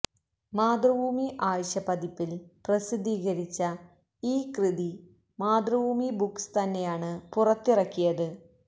മാതൃഭൂമി ആഴ്ചപ്പതിപ്പിൽ പ്രസിദ്ധീകരിച്ച ഈ കൃതി മാതൃഭൂമി ബുക്സ് തന്നെയാണ് പുറത്തിറക്കിയത്